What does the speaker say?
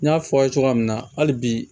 N y'a fɔ aw ye cogoya min na hali bi